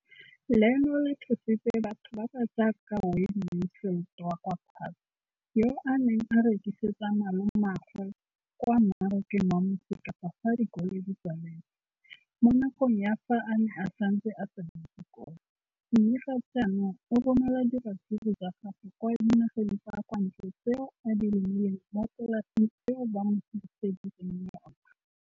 Leno le thusitse batho ba ba jaaka Wayne Mansfield, 33, wa kwa Paarl, yo a neng a rekisetsa malomagwe kwa Marakeng wa Motsekapa fa dikolo di tswaletse, mo nakong ya fa a ne a santse a tsena sekolo, mme ga jaanong o romela diratsuru tsa gagwe kwa dinageng tsa kwa ntle tseo a di lemileng mo polaseng eo ba mo hiriseditseng yona.